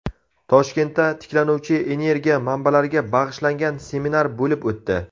Toshkentda tiklanuvchi energiya manbalariga bag‘ishlangan seminar bo‘lib o‘tdi.